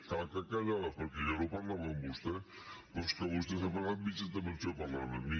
clar que callava perquè jo no parlava amb vostè però és que vostè s’ha passat mitja intervenció parlant amb mi